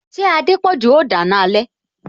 Ṣé Adepoju o dana alẹ